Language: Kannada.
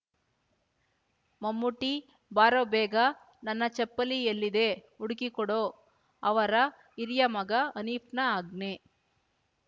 ಮಮ್ಮೂಟೀ ಬಾರೋ ಬೇಗ ನನ್ನ ಚಪ್ಪಲಿ ಎಲ್ಲಿದೆ ಹುಡುಕಿ ಕೊಡೊ ಅವರ ಹಿರಿಯ ಮಗ ಹನೀಫ್‍ನ ಆಜ್ಞೆ